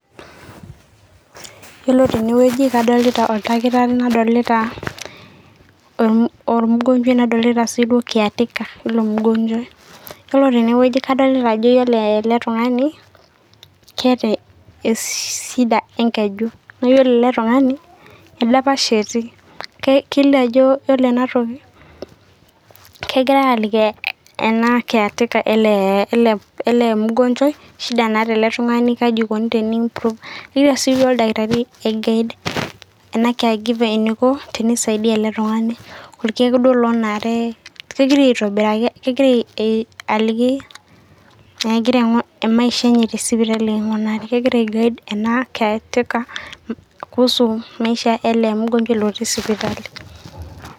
Ore teneweji kadolita ordakitari nadolita ormugonjuai nadokita sii suo [cs[caretaker le ilo migonjuai, ore teneweji kadolitaa ajo iyolo ale tung'ani keeta eshida enkeju naaku iyolo ale tung'ani ordapash etii naa keiliyoo ajo ore enatoki kegirai aaliki ena caretaker ele ormugonjuai eshida naata ale tungani keji eikoni teniintuk, egira sii ordakitari aigaid ena care giver eneiko teneisaidia ale tungani, orkeek duo loonare kegira aitobirraki aliki enegira maisha eney te sipitali aikunari, kegira aigaid ena caretaker kuhusu maisha e ale mugonjuai otii sipitali,